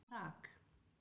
Prag